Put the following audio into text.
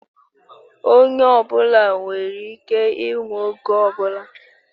Onye ọ bụla nwere ike ịnwụ oge ọ bụla